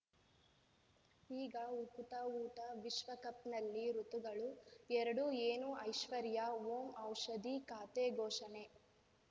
ಈಗ ಉಕುತ ಊಟ ವಿಶ್ವಕಪ್‌ನಲ್ಲಿ ಋತುಗಳು ಎರಡು ಏನು ಐಶ್ವರ್ಯಾ ಓಂ ಔಷಧಿ ಖಾತೆ ಘೋಷಣೆ